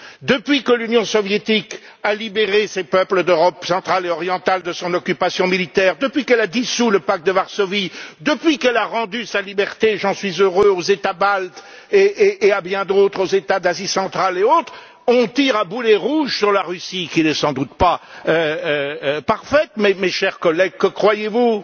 Depuis que l'Union soviétique a libéré ces peuples d'Europe centrale et orientale de son occupation militaire, depuis qu'elle a dissous le pacte de Varsovie, depuis qu'elle a rendu sa liberté et j'en suis heureux aux États baltes et à bien d'autres États d'Asie centrale et autres, on tire à boulets rouges sur la Russie qui n'est certes sans doute pas parfaite. Mais, mes chers collègues, que croyez vous?